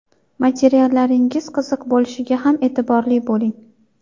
Materiallaringiz qiziq bo‘lishiga ham e’tiborli bo‘ling.